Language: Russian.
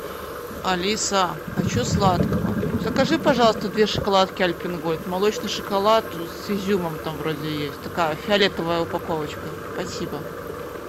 алиса хочу сладкого закажи пожалуйста две шоколадки альпен голд молочный шоколад с изюмом там вроде есть такая фиолетовая упаковочка спасибо